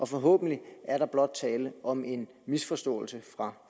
forhåbentlig er der blot tale om en misforståelse fra